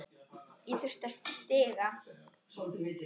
Ég þurfti stiga.